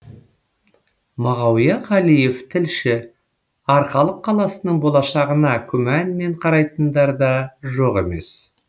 мағауия қалиев тілші арқалық қаласының болашағына күмәнмен қарайтындар да жоқ емес